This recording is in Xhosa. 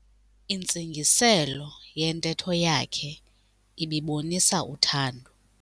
Intsingiselo yentetho yakhe ibibonisa uthando.